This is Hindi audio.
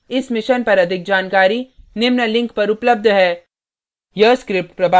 इस mission पर अधिक जानकारी निम्न link पर उपलब्ध है